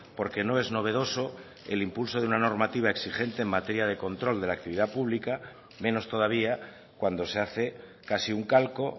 porque no es novedoso el impulso de una normativa exigente en materia de control de la actividad pública menos todavía cuando se hace casi un calco